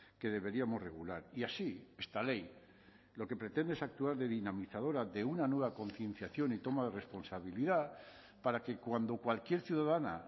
que deberíamos regular y así esta ley lo que pretende es actuar de dinamizadora de una nueva concienciación y toma de responsabilidad para que cuando cualquier ciudadana